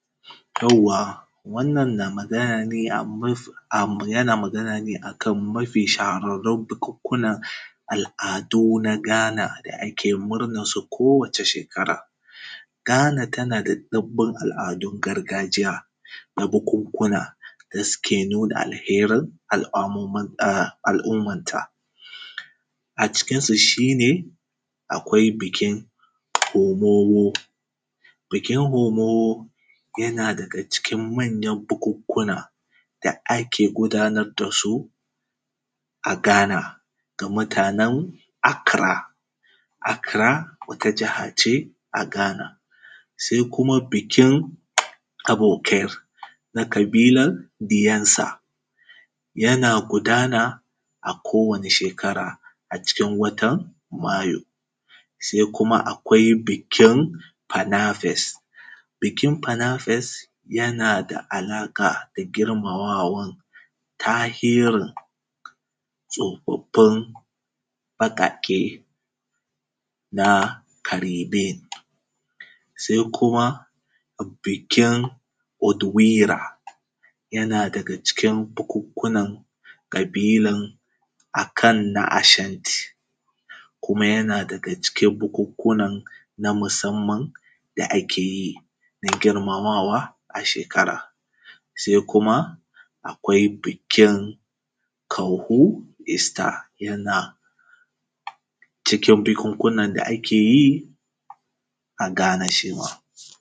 Yawwa wannan na magana ne a kan mafi shahararrun bubukuna, al'adu na Ghana da ake murnan su kowace shekara. Ghana tana da ɗunbin al’adun gargajiya, na bukukuna da suke nuna alherin ah al’ummanta. A cikin su shi ne, akwai bikin homomo, bikin homomo yana da cikin manyan bukukuna da ake gudanad da su a Ghana ga mutanen Accara. Accara wata jaha ce a Ghana. Sai kuma bikin abikir na ƙabilar Biyansa, yana gudana a kowane shekara acikin watan Mayu. Sai kuma akwai bikin fanafes, bikin fanafes yana da alaƙa da girmamawan tahirin tsafaffen baƙaƙe na Karebe. Sai kuma bikin Odwira, yana daga cikin bukukunan ƙabilan a ka na Ashanti, kuma yana daga cikin bukukunan na musamman da ake yi an girmamawa a shekara. Sai kuma akwai bikin Kahu ista yana cikin bukukunan da ake yi a Ghana shi ma.